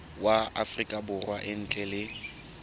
wa afrika borwa ntle le